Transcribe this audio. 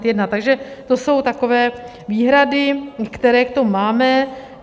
Takže to jsou takové výhrady, které k tomu máme.